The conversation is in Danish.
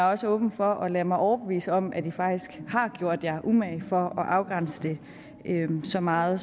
også åben for at lade mig overbevise om at i faktisk har gjort jer umage for at afgrænse det så meget